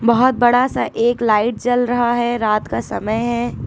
बहोत बड़ा सा एक लाइट जल रहा है रात का समय है।